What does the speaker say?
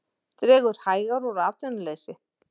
Dregur hægar úr atvinnuleysi